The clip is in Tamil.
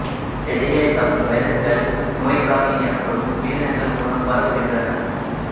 செடிகளைத் தாக்கும் வைரசுகள் நோய்க்காவி எனப்படும் உயிரினங்கள் மூலம் பரவுகின்றன